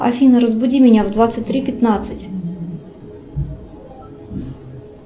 афина разбуди меня в двадцать три пятнадцать